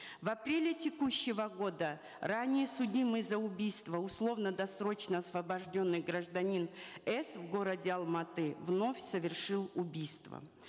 в апреле текущего года ранее судимый за убийство условно досрочно освобожденный гражданин с в городе алматы вновь совершил убийство